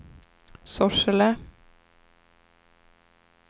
Sorsele